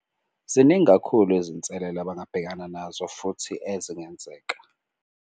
Ziningi kakhulu izinselelo abangabhekana nazo futhi ezingenzeka.